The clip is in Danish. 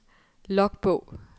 logbog